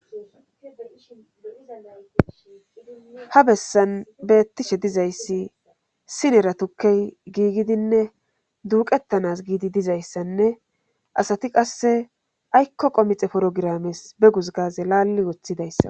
ha bessan beettishe dizayssi sinera tukkey giigidinne duuqettanas giidi dizayssanne asati qasse aykko qomixe porogirames be gusgaze laalli woththidayssa